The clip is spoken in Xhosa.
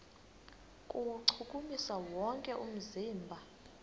kuwuchukumisa wonke umzimba